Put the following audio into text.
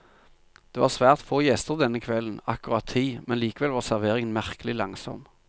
Det var svært få gjester denne kvelden, akkurat ti, men likevel var serveringen merkelig langsom.